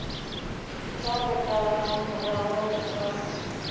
tla re ka morago ga